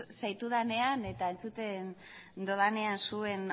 zaitudanean eta entzuten dudanean zuen